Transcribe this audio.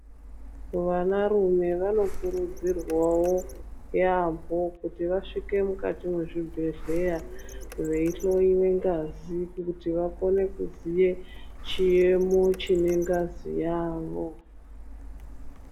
Vanarume vanokurudzirwavo yaamho kuti vasvike mukati mwezvibhedhleya. Veihlowe ngazi kuti vakone kuziye chiyemo chine ngazi yavo.